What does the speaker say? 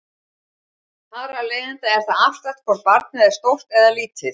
Þar af leiðandi er það afstætt hvort barnið er stórt eða lítið.